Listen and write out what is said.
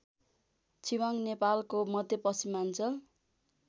छिवाङ नेपालको मध्यपश्चिमाञ्चल